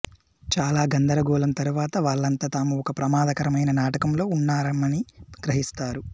చాలా గందరగోళం తరువాత వాళ్ళంతా తాము ఒక ప్రమాదకరమైన నాటకంలో ఉన్నామని గ్రహిస్తారు